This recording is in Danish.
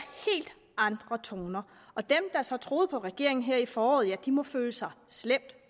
helt andre toner og dem der så troede på regeringen her i foråret må føle sig slemt